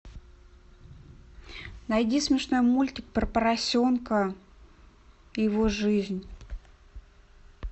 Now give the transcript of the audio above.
найди смешной мультик про поросенка и его жизнь